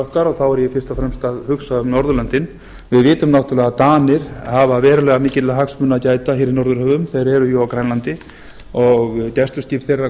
okkar og þá er ég fyrst og fremst að hugsa um norðurlöndin við vitum náttúrulega að danir hafa verulega mikilla hagsmuna að gæta hér í norðurhöfum þeir eru jú á grænlandi gæsluskip þeirra